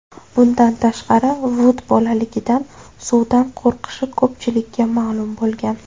Bundan tashqari Vud bolaligidan suvdan qo‘rqishi ko‘pchilikka ma’lum bo‘lgan.